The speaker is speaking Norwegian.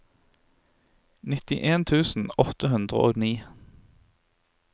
nittien tusen åtte hundre og ni